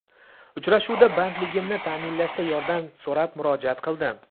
Uchrashuvda bandligimni ta’minlashda yordam so‘rab murojaat qildim.